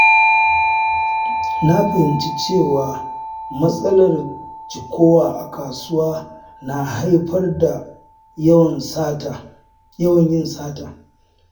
Na fahimci cewa matsalar cikowa a kasuwa na haifar da yawan yin sata.